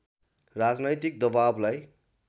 राजनैतिक दबाबलाई